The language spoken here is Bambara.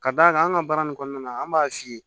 Ka d'a kan an ka baara nin kɔnɔna na an b'a f'i ye